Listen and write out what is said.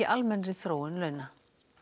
almennri þróun launa